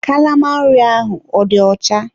Kalama nri ahụ ọ dị ọcha?